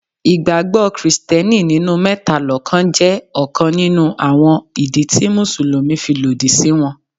Ìgbàgbọ́ Kristẹni nínú mẹ́ta lọ́kàn jẹ́ ọ̀kan nínú àwọn ìdí tí Mùsùlùmí fi lòdì sí wọn.